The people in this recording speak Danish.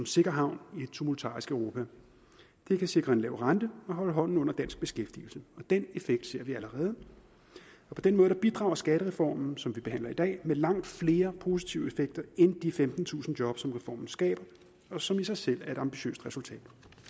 sikker havn i et tumultarisk europa det kan sikre en lav rente og holde hånden under dansk beskæftigelse og den effekt ser vi allerede på den måde bidrager skattereformen som vi behandler i dag med langt flere positive effekter end de femtentusind job som reformen skaber og som i sig selv er et ambitiøst resultat